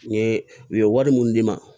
N ye u ye wari mun d'i ma